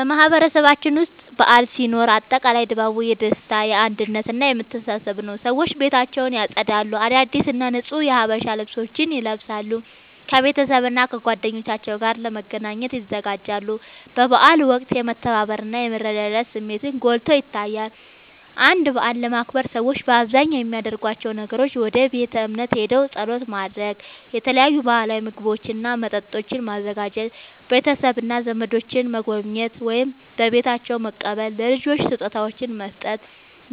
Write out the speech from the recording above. በማህበረሰባችን ውስጥ በዓል ሲኖር አጠቃላይ ድባቡ የደስታ፣ የአንድነት እና የመተሳሰብ ነዉ። ሰዎች ቤታቸውን ያጸዳሉ፣ አዳዲስ እና ንጹህ የሀበሻ ልብሶችን ይለብሳሉ፣ ከቤተሰብና ከጓደኞቻቸው ጋር ለመገናኘት ይዘጋጃሉ። በበዓላት ወቅት የመተባበር እና የመረዳዳት ስሜትን ጎልቶ ይታያል። አንድን በዓል ለማክበር ሰዎች በአብዛኛው የሚያደርጓቸው ነገሮች፦ ወደ ቤተ እምነት ሄደው ጸሎት ማድረግ፣ የተለያዩ ባህላዊ ምግቦችና መጠጦችን ማዘጋጀ፣ ቤተሰብና ዘመዶችን መጎብኘት ወይም በቤታቸው መቀበል፣ ለልጆች ስጦታዎችን መስጠት፣